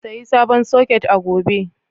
Sayi sabon soket a gobe.